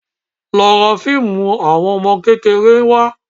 Lọ ra fíìmù àwọn ọmọ kékeré wá